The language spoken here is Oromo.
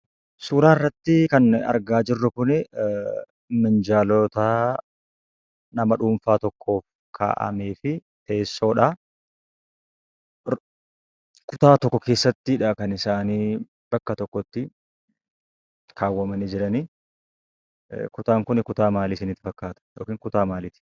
Suuraa irrattii kan nuyi argaa jirru kunii minjaalootaa nama dhuunfaa tokkoon kaa'amee fi teessoodha. kutaa tokko keessattidha kan isaanii bakka tokkotti kaawwamanii jiranii. kutaan kunii kutaa maalii isinitti fakkaata yookiin kutaa maaliiti?